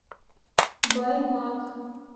баймак